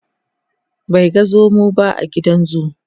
bai ga zomo ba a gidan zoo